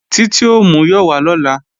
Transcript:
Títí ò múyọ̀ wá lọ́la